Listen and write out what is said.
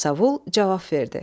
Yasavul cavab verdi.